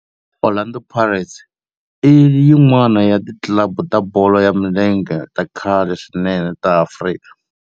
Orlando Pirates i yin'wana ya ti club ta bolo ya milenge ta khale swinene ta Afrika.